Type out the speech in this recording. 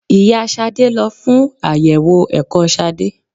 Ìyá Ṣadé lo fún àyẹ̀wò ẹ̀kọ́ Ṣadé.